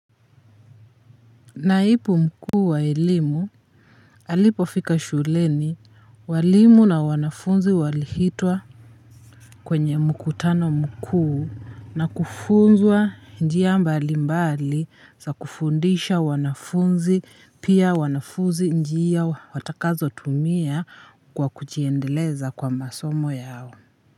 Naipu mkuu wa elimu. Alipofika shuleni walimu na wanafunzi walihitwa kwenye mkutano mkuu na kufunzwa njia mbali mbali za kufundisha wanafunzi pia wanafuzi njia watakazo tumia kwa kujiendeleza kwa masomo yao.